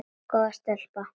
Góð stelpa.